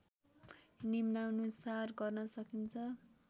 निम्नानुसार गर्न सकिन्छ